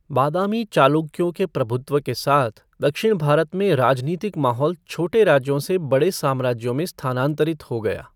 बादामी चालुक्यों के प्रभुत्व के साथ दक्षिण भारत में राजनीतिक माहौल छोटे राज्यों से बड़े साम्राज्यों में स्थानांतरित हो गया।